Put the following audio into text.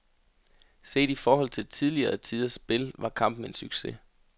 Set i forhold til tidligere tiders spil var kampen en succes.